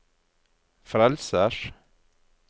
frelsers